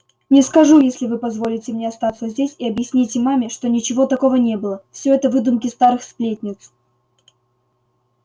не скажу если вы позволите мне остаться здесь и объясните маме что ничего такого не было все это выдумки старых сплетниц